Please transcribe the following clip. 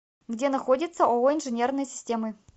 где находится ооо инженерные системы